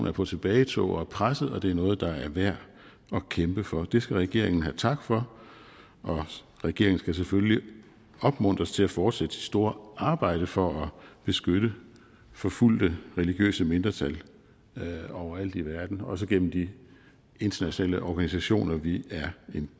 er på tilbagetog og er presset og det er noget der er værd at kæmpe for det skal regeringen have tak for og regeringen skal selvfølgelig opmuntres til at fortsætte sit store arbejde for at beskytte forfulgte religiøse mindretal overalt i verden også gennem de internationale organisationer vi